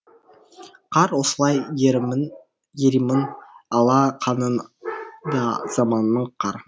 қар осылай еримін еримін ала қан ын да заманның қар